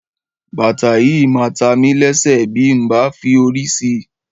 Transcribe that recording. Bàtà yìí máa ta mi lẹ́sẹ̀ bí n ò bá fi òrí si